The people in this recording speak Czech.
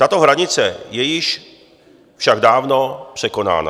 Tato hranice je již však dávno překonána.